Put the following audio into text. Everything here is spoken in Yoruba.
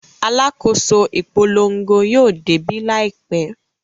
Alákòóso ìpolongo yóò débí láìpẹ́.